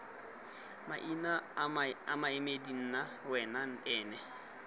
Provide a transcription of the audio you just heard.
maina maemedi nna wena ena